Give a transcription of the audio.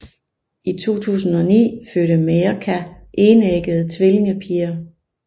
I 2009 fødte Mirka enæggede tvillingepiger